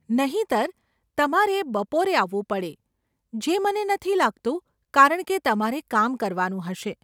નહીંતર, તમારે બપોરે આવવું પડે, જે મને નથી લાગતું કારણકે તમારે કામ કરવાનું હશે.